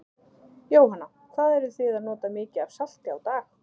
Jóhanna: Hvað eruð þið að nota mikið af salti á dag?